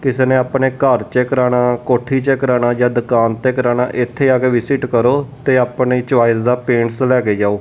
ਕਿਸੇ ਨੇ ਆਪਣੇ ਘੱਰ ਚ ਕਰਾਨਾ ਕੋਹੱਠੀ ਚ ਕਰਾਨਾ ਜਾ ਦੁਕਾਨ ਤੇ ਕਰਾਨਾ ਏੱਥੇ ਆ ਕੇ ਵਿਜ਼ਿਟ ਕਰੋ ਤੇ ਔਨੇ ਚੋਇਸ ਦਾ ਪੇਂਟ੍ਸ ਲੈਕੇ ਜਾਓ।